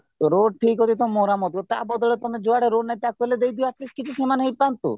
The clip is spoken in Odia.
ରୋଡ ଠିକ ଅଛିତ ମରାମତି ତା ବଦଳରେ ଯୁଆଡେ ରୋଡ ନାହିଁ ତାକୁ ହେଲେ ଦେଇଦିଅ at least କିଛି ସେମାନେହିଁ ପାଆନ୍ତୁ